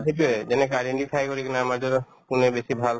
সেইটোয়ে যেনেকে identify কৰি কিনে আমাৰ কোনে বেছি ভাল